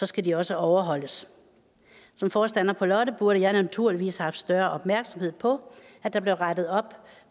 skal de også overholdes som forstander på lotte burde jeg naturligvis have haft større opmærksomhed på at der blev rettet op